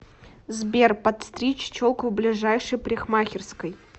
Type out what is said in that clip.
сбер подстричь челку в ближайшей парикмахерской